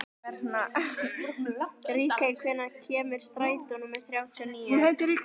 Ríkey, hvenær kemur strætó númer þrjátíu og níu?